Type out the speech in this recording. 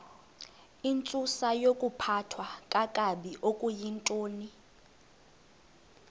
intsusayokuphathwa kakabi okuyintoni